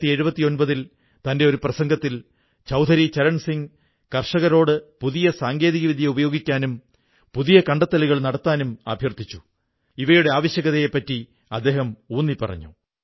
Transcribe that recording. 1979 ൽ തന്റെ ഒരു പ്രസംഗത്തിൽ ചൌധരി ചരൺസിംഗ് കർഷകരോട് പുതിയ സാങ്കേതികവിദ്യ ഉപയോഗിക്കാനും പുതിയ കണ്ടെത്തലുകൾ നടത്താനും അഭ്യർഥിച്ചു ഇവയുടെ ആവശ്യകതയെ ഊന്നിപ്പറഞ്ഞു